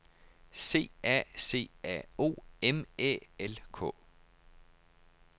C A C A O M Æ L K